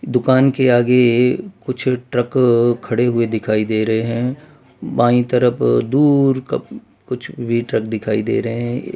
दुकान के आगे कुछ ट्रक खड़े हुए दिखाई दे रहे हैं बाई तरफ दूर कब कुछ वेटर दिखाई दे रहे हैं।